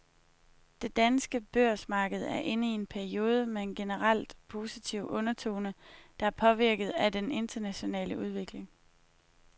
Det danske børsmarked er inde i en periode med en generelt positiv undertone, der er påvirket af den internationale udvikling.